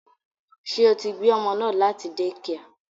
Ṣé o tí gbé ọmọ náà láti dẹ́kià?